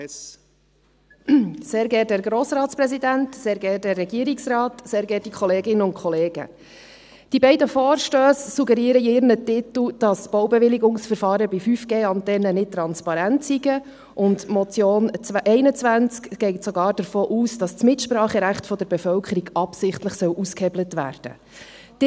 Die beiden Vorstösse suggerieren in ihren Titeln, dass Baubewilligungsverfahren bei 5G-Antennen nicht transparent seien, und die Motion 21 geht sogar davon aus, dass das Mitspracherecht der Bevölkerung absichtlich ausgehebelt werden soll.